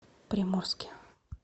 приморске